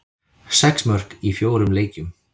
Sex mörk í fjórum leikjum.